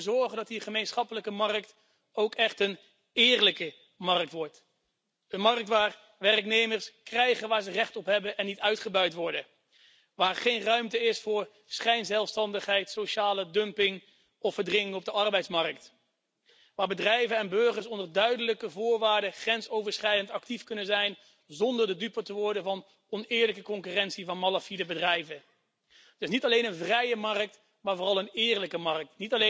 We moeten ervoor zorgen dat die gemeenschappelijke markt ook echt een eerlijke markt wordt een markt waar werknemers krijgen waar ze recht op hebben en niet uitgebuit worden, waar geen ruimte is voor schijnzelfstandigheid, sociale dumping of verdringing op de arbeidsmarkt, waar bedrijven en burgers onder duidelijke voorwaarden grensoverschrijdend actief kunnen zijn zonder de dupe te worden van oneerlijke concurrentie van malafide bedrijven. Dus niet alleen een vrije markt, maar vooral een eerlijke markt.